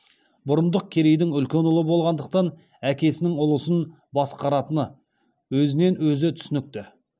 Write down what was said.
бұрындық керейдің үлкен ұлы болғандықтан әкесінің ұлысын басқаратыны өзінен өзі түсінікті